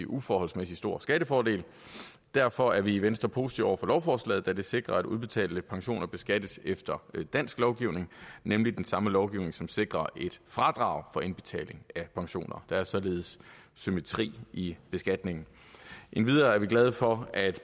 uforholdsmæssig stor skattefordel derfor er vi i venstre positive over for lovforslaget da det sikrer at udbetalte pensioner beskattes efter dansk lovgivning nemlig den samme lovgivning som sikrer et fradrag for indbetaling af pensioner der er således symmetri i beskatningen endvidere er vi glade for at